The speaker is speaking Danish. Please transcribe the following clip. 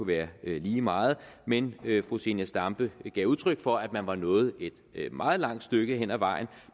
være lige meget men fru zenia stampe gav udtryk for at man er nået et meget langt stykke ad vejen